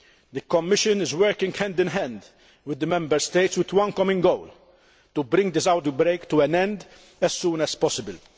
The Commission is working hand in hand with the Member States with one common goal to bring this outbreak to an end as soon as possible.